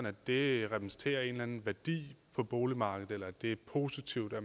at det repræsenterer en eller anden værdi på boligmarkedet eller at det er positivt at